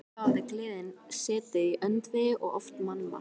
Þá hafði gleðin setið í öndvegi og oft mannmargt.